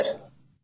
হ্যাঁ স্যার